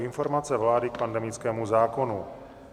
Informace vlády k pandemickému zákonu